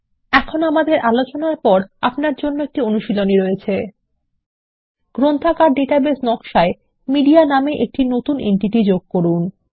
এখন আমাদের আলোচনার পর আপনার জন্য একটি অনুশীলনী রয়েছে গ্রন্থাগার ডাটাবেস নকশা এ মিডিয়া নামে একটি নতুন এন্টিটি যোগ করুন